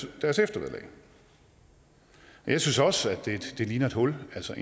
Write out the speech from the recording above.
i deres eftervederlag jeg synes også det ligner et hul altså